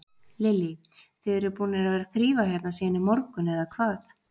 Lillý: Þið eruð búnir að vera að þrífa hérna síðan í morgun, eða hvað?